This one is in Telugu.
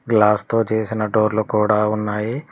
గ్లాస్ తో చేసిన డోర్లు కూడా ఉన్నాయి.